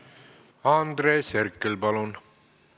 Andres Herkel, palun!